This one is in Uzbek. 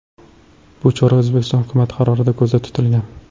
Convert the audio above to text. Bu chora O‘zbekiston hukumati qarorida ko‘zda tutilgan.